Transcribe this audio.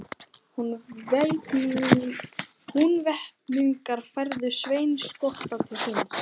Húnvetningar færðu Svein skotta til þings.